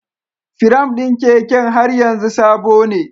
Firam ɗin keken har yanzu sabone.